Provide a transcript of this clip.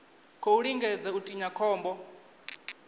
khou lingedza u tinya khombo